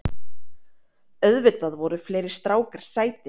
Auðvitað voru fleiri strákar sætir.